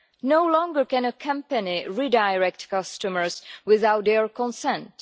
No longer can a company redirect customers without their consent.